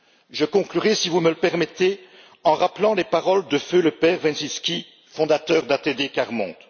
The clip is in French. Je conclurai, si vous me le permettez, en rappelant les paroles de feu le père Wresinski, fondateur d'ATD Quart Monde.